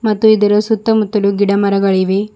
ಮತ್ತು ಇದರ ಸುತ್ತಮುತ್ತಲು ಗಿಡ ಮರಗಳಿವೆ.